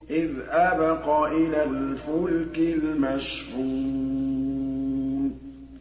إِذْ أَبَقَ إِلَى الْفُلْكِ الْمَشْحُونِ